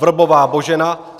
Vrbová Božena